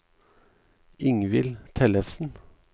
Ingvill Tellefsen